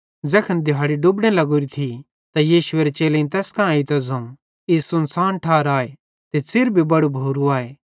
ज़ैखन दिहाड़ी डुबने लग्गोरी थी त यीशुएरे चेलेईं तैस कां एइतां ज़ोवं ई सुनसान ठार आए ते च़िर भी बड़ू भोरू आए